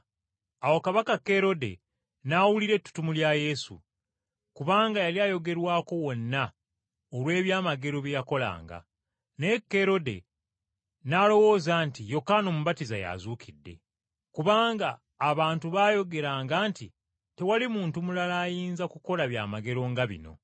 Awo Kabaka Kerode n’awulira ettutumu lya Yesu, kubanga yali ayogerwako wonna olw’ebyamagero bye yakolanga. Naye Kerode n’alowooza nti Yokaana Omubatiza y’azuukidde, kubanga abantu baayogeranga nti, “Tewali muntu mulala ayinza kukola byamagero nga bino.”